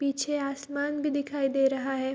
पीछे आसमान भी दिखाई दे रहा है।